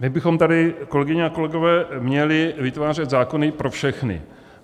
My bychom tady, kolegyně a kolegové, měli vytvářet zákony pro všechny.